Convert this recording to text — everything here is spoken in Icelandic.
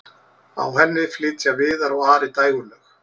á henni flytja viðar og ari dægurlög